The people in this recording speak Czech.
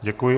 Děkuji.